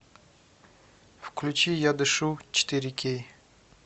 включи я дышу четыре кей